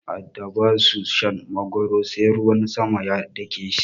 Iyayen mu a da ba su shan magwaro sai ruwan sama ya dake shi.